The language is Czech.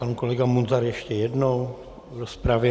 Pan kolega Munzar ještě jednou v rozpravě.